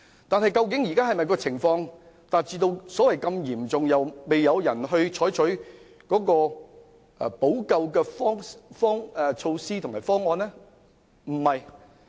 但現在的情況究竟是否已達至嚴重程度而沒有人採取補救措施和方案？